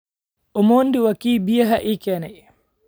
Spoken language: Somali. Omondi waa kii biyaha ii keenay